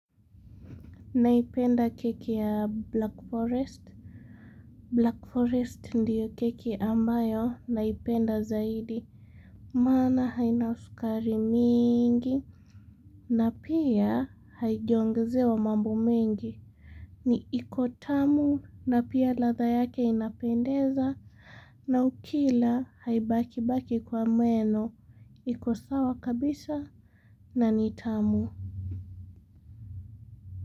Naipenda keki ya Black Forest Black Forest ndiyo keki ambayo naipenda zaidi. Mana hainausukari mingi na pia haijiongze wa mambo mengi. Ni ikotamu na pia latha yake inapendeza. Na ukila haibaki baki kwa meno. Ikosawa kabisa na nitamu.